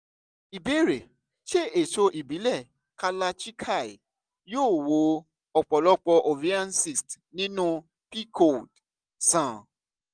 ìbéèrè: ṣé èso ìbílẹ̀ kalarchikai yóò wo ọ̀pọ̀lọpọ̀ ovarian cysts nínú pcod sàn?